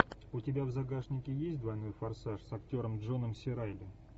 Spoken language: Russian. у тебя в загашнике есть двойной форсаж с актером джоном си райли